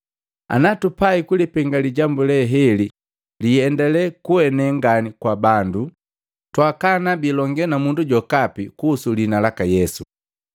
Ana tupai kulipenga lijambu leheli liiendalee kuene ngani kwa bandu, twaakana biilongee na mundu jokapi kuhusu liina laka Yesu.”